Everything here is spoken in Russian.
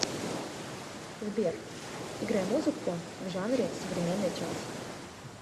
сбер играй музыку в жанре современный джаз